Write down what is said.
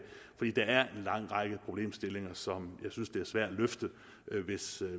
fordi der er en lang række problemstillinger som jeg synes er svære at løfte